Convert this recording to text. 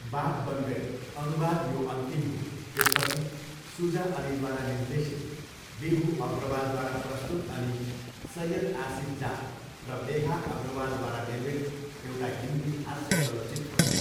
बात बन गई, अनुवाद यो अन्तिम हो, त्यसपछि!, सुजा अलीद्वारा निर्देशित, विभु अग्रवालद्वारा प्रस्तुत अनि सैयद आसिफ जाह र मेघा अग्रवालद्वारा निर्मित एउटा हिन्दी हास्य चलचित्र हो।